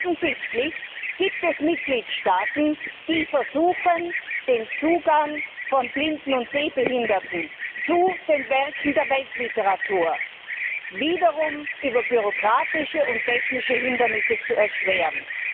Denn offensichtlich gibt es Mitgliedstaaten, die versuchen, den Zugang von Blinden und Sehbehinderten zu den Werken der Weltliteratur wiederum über bürokratische und technische Hindernisse zu erschweren.